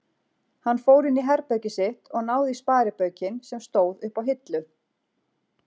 Hann fór inní herbergið sitt og náði í sparibaukinn sem stóð uppá hillu.